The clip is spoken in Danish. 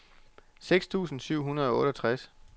seks tusind syv hundrede og otteogtres